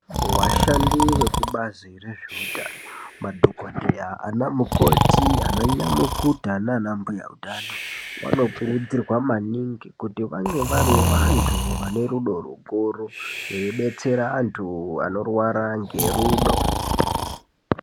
Vashandi vekubazi rezvehutano, madhokodheya, ana mukoti, ana nyamukuta nana mbuyautano vanokurudzirwa manhingi kuti vange vari vantu vane rudo rukuru rwekudetsera vantu vanorwara ngerudo.